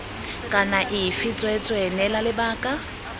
kana afe tsweetswee neela lebaka